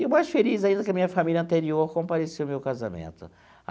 E o mais feliz ainda é que a minha família anterior compareceu no meu casamento.